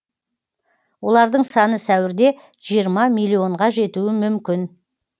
олардың саны сәуірде жиырма миллионға жетуі мүмкін